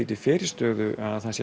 til fyrirstöðu að